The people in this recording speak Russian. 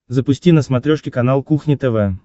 запусти на смотрешке канал кухня тв